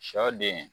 Sɔ den